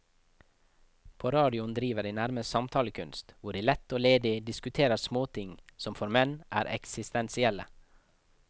På radioen driver de nærmest samtalekunst, hvor de lett og ledig diskuterer småting som for menn er eksistensielle.